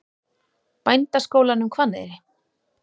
Bændaskólanum Hvanneyri